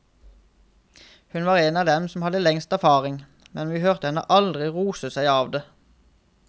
Hun var en av dem som hadde lengst erfaring, men vi hørte henne aldri rose seg av det.